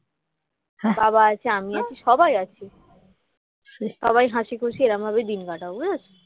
বাবা আছে আমি আছি সবাই আছে সবাই হাসিখুশি এরকমভাবেই দিন কাটাবে বুঝেছ